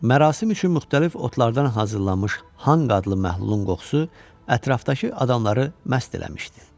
Mərasim üçün müxtəlif otlardan hazırlanmış Hanq adlı məhlulun qoxusu ətrafdakı adamları məst eləmişdi.